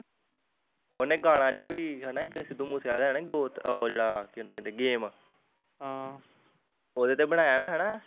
ਓਹਨੇ ਗਾਣਾ ਜਿਹਾ ਵੀ ਹੈਨਾ ਇੱਕ ਸਿੱਧੂ ਮੂਸੇਆਲੇ ਆਲਾ ਗੋਤ ਓਹ ਜਿਹੜਾ ਕੀ ਉਹਨੂੰ ਕਹਿਣੇ ਗ਼ਮ ਹਮ ਉਹਦੇ ਤੇ ਬਣਾਇਆ ਨਾ ਹਨਾ